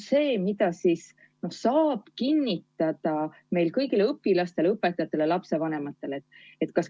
Mida ikkagi saab kinnitada kõigile õpilastele, õpetajatele, lapsevanematele?